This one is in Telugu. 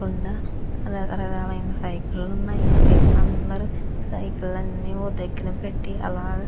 ఉండ రక రకాలైన సైకిల్ ఉన్నాయి పిల్లలు అందరూ సైకిల్ అని ఒక దగ్గర పెట్టి అలఅలా.